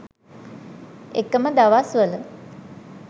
එකම දවස්වල